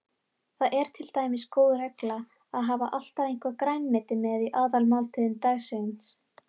Það er til dæmis góð regla að hafa alltaf eitthvert grænmeti með í aðalmáltíðum dagsins.